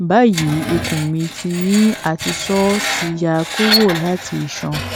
bayi ikun mi ti ni a ti sọ ti ya kuro lati iṣan